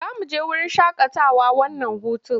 Za mu je wurin shaƙatawa wannan hutun?